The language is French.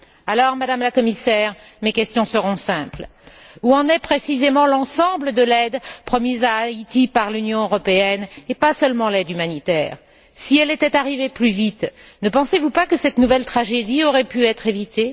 Alors, Madame la Commissaire, mes questions seront simples Où en est précisément l'ensemble de l'aide promise à Haïti par l'Union européenne, et pas seulement l'aide humanitaire? Si elle était arrivée plus vite, ne pensez vous pas que cette nouvelle tragédie aurait pu être évitée?